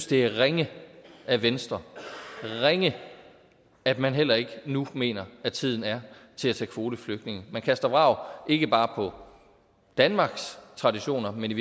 det er ringe af venstre ringe at man heller ikke nu mener at tiden er til at tage kvoteflygtninge man kaster vrag ikke bare på danmarks traditioner men i